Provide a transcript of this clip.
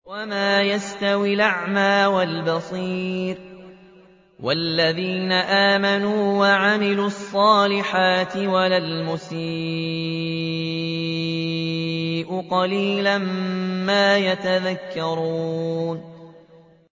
وَمَا يَسْتَوِي الْأَعْمَىٰ وَالْبَصِيرُ وَالَّذِينَ آمَنُوا وَعَمِلُوا الصَّالِحَاتِ وَلَا الْمُسِيءُ ۚ قَلِيلًا مَّا تَتَذَكَّرُونَ